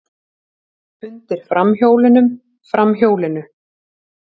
Undir framhjólunum, framhjólinu.